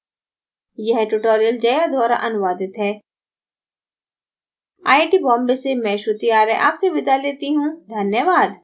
यह tutorial जया द्वारा अनुवादित है आई आई टी बॉम्बे से मैं श्रुति आर्य आपसे विदा लेती हूँ धन्यवाद